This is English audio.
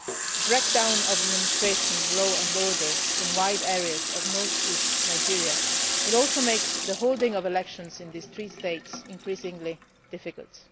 The breakdown of administration and law and order in wide areas of north east Nigeria will also make the holding of elections in these three states increasingly difficult.